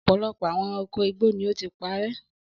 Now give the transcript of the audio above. Ọ̀pọ̀lọpọ̀ àwọn ẹranko igbó ni ó ti parẹ́.